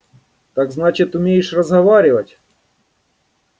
так значит умеешь разговаривать